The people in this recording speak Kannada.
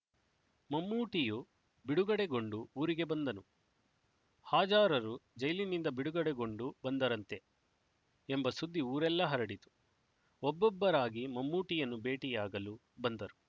ಮಮ್ಮೂಟಿಯೂ ಬಿಡುಗಡೆಗೊಂಡು ಊರಿಗೆ ಬಂದನು ಹಾಜಾರರು ಜೈಲಿನಿಂದ ಬಿಡುಗಡೆಗೊಂಡು ಬಂದರಂತೆ ಎಂಬ ಸುದ್ದಿ ಊರೆಲ್ಲ ಹರಡಿತು ಒಬ್ಬೊಬ್ಬರಾಗಿ ಮಮ್ಮೂಟಿಯನ್ನು ಭೇಟಿಯಾಗಲು ಬಂದರು